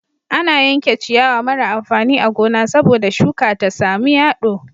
Ana yanke ciyawa mara amfani a gona sabo da shuka ta samu yado